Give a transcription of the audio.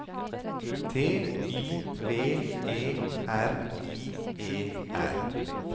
T Y V E R I E R